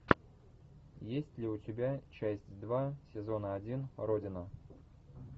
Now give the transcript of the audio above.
есть ли у тебя часть два сезона один родина